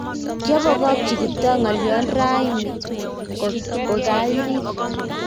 kiabongokchi Kiptoo ngolion rauni ko kairir